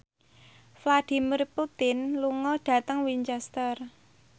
Vladimir Putin lunga dhateng Winchester